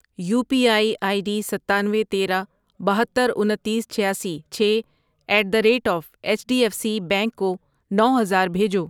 You P I I D ستانوے، تیرہ، بہتر، انتیس، چھیاسی، چھ at the rate of H D F C bank کو نو ہزار بھیجو۔